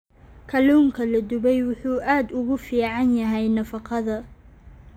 Kalluunka la dubay wuxuu aad ugu fiican yahay nafaqada.